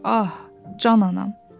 Ah, can anam.